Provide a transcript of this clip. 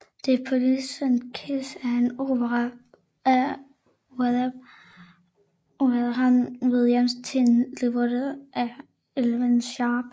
The Poisoned Kiss er en opera af Ralph Vaughan Williams til en libretto af Evelyn Sharp